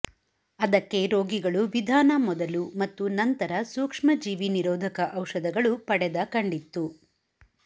ಅದಕ್ಕೆ ರೋಗಿಗಳು ವಿಧಾನ ಮೊದಲು ಮತ್ತು ನಂತರ ಸೂಕ್ಷ್ಮಜೀವಿ ನಿರೋಧಕ ಔಷಧಗಳು ಪಡೆದ ಕಂಡಿತ್ತು